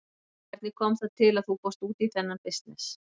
Hvernig kom það til að þú fórst út í þennan bisness?